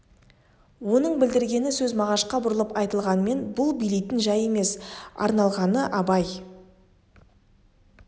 оның білдіргені сөз мағашқа бұрылып айтылғанмен бұл билейтін жай емес арналғаны абай